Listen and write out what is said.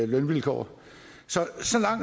lønvilkår så